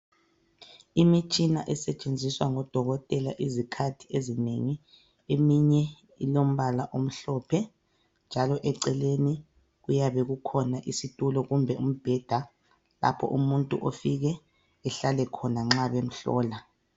Imitshina esetshenziswa ngodokotela izikhathi ezinengi eminye ilombala omhlophe njalo eceleni kuyabe kukhona isitulo kumbe umbheda lapho umuntu ofike ehlale khona nxa bemhlola.